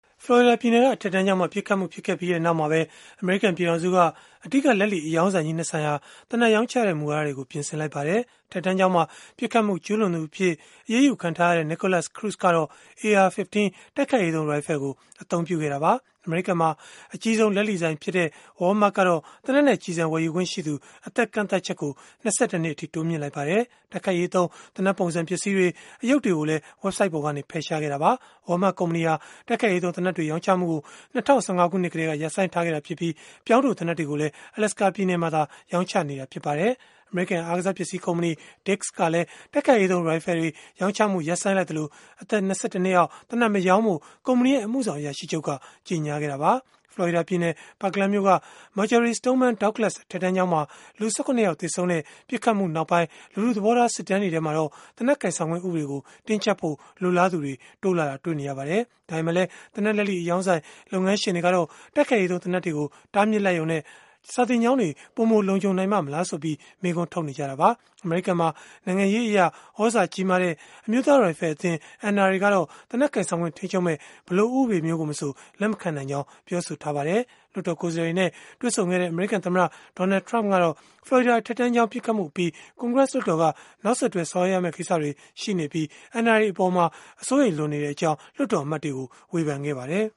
ဖလော်ရီဒါပြည်နယ်က အထက်တန်းကျောင်းမှာ ပစ်ခတ်မှု ဖြစ်ပွားခဲ့ပြီးနောက်မှာပဲ၊ အမေရိကန် ပြည်ထောင်စုက အဓိကလက်လီအရောင်းဆိုင်ကြီး ၂ ဆိုင်ဟာ သေနတ်ရောင်းချတဲ့ မူဝါဒတွေကို ပြင်ဆင်လိုက်ပါတယ်။ အထက်တန်းကျောင်းမှာ ပစ်ခတ်မှု ကျုးလွန်သူအဖြစ် အရေးယူခံထားရတဲ့ Nikolas Cruz ကတော့ AR-15 တိုက်ခိုက်ရေးသုံး ရိုင်ဖယ်ကို အသုံးပြုခဲ့တာပါ။ အမေရိကန်မှာ အကြီးဆုံး လက်လီဆိုင်ဖြစ်တဲ့ Walmart ကတော့ သေနတ်နဲ့ ကျည်ဆံဝယ်ယူခွင့်ရှိသူ အသက်ကန့်သတ်ချက်ကို ၂၁ နှစ်အထိ တိုးမြှင့်လိုက်ပါတယ်။ တိုက်ခိုက်ရေးသုံး သေနတ်ပုံစံ ပစ္စည်းတွေ၊ အရုပ်တွေကိုလည်း ဝဘ်ဆိုဒ်ပေါ်ကနေ ဖယ်ရှားခဲ့တာပါ။ Walmart ကုမ္ပဏီဟာ တိုက်ခိုက်ရေးသုံး သေနတ်တွေ ရောင်းချမှုကို ၂၀၁၅ ခုနှစ်ကတည်းက ရပ်ဆိုင်းထားခဲ့ပြီး၊ ပြောင်းတိုသေနတ်တွေကိုလည်း Alaska ပြည်နယ်မှာသာ ရောင်းချနေတာ ဖြစ်ပါတယ်။ အမေရိကန် အားကစားပစ္စည်း ကုမ္ပဏီ Dick’s ကလည်း တိုက်ခိုက်ရေးသုံး ရိုင်ဖယ်တွေ ရောင်းချမှု ရပ်ဆိုင်းလိုက်သလို၊ အသက် ၂၁ နှစ်အောက် သေနတ်မရောင်းဖို့ ကုမ္ပဏီရဲ့ အမှုဆောင်အရာရှိချုပ်က ကြေညာခဲ့တာပါ။ ဖလော်ရီဒါပြည်နယ် Parkland မြို့က Marjory Stoneman Douglas အထက်တန်းကျောင်းမှာ လူ ၁၇ ယောက် သေဆုံးခဲ့တဲ့ ပစ်ခတ်မှုနောက်ပိုင်း လူထုသဘောထား စစ်တမ်းတွေမှာတော့ သေနတ်ကိုင်ဆောင်ခွင့် ဥပဒေကို တင်းကျပ်ဖို့ လိုလားသူတွေ တိုးလာတာတွေ့ရပါတယ်။ ဒါပေမဲ့လည်း သေနတ်လက်လီအရောင်းဆိုင် လုပ်ငန်းရှင်တွေကတော့ တိုက်ခိုက်ရေးသုံး သေနတ်တွေကို တားမြစ်လိုက်ရုံနဲ့ စာသင်ကျောင်းတွေ ပိုမိုလုံခြုံနိုင်ပါ့မလားဆိုပြီး မေးခွန်းထုတ်နေကြတာပါ။ အမေရိကန်မှာ နိုင်ငံရေးအရ သြဇာကြီးမားတဲ့ အမျိုးသားရိုင်ဖယ်အသင်း (NRA) ကတော့ သေနတ်ကိုင်ဆောင်ခွင့် ထိန်းချုပ်မယ့် ဘယ်လိုဥပဒေမျိုးကိုမဆို လက်မခံနိုင်ကြောင်း ပြောဆိုထားပါတယ်။ လွှတ်တော်ကိုယ်စားလှယ်တွေနဲ့ တွေ့ဆုံခဲ့တဲ့ အမေရိကန် သမ္မတ Donald Trump ကတော့ ဖလော်ရီဒါ အထက်တန်းကျောင်း ပစ်ခတ်မှုအပြီး ကွန်ဂရက်လွှတ်တော်က နောက်ဆက်တွဲ ဆောင်ရွက်ရမယ့် ကိစ္စတွေ ရှိနေပြီး၊ NRA အပေါ် အစိုးရိမ်လွန်နေကြောင်း လွှတ်တော်အမတ်တွေကို ဝေဖန်ခဲ့ပါတယ်